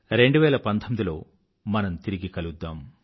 2019లో మనం తిరిగి కలుద్దాం